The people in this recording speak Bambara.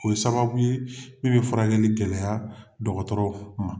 O ye sababu ye min bɛ furakɛli gɛlɛya dɔgɔtɔrɔw ma.